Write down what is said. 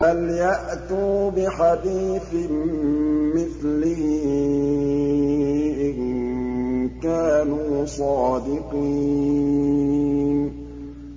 فَلْيَأْتُوا بِحَدِيثٍ مِّثْلِهِ إِن كَانُوا صَادِقِينَ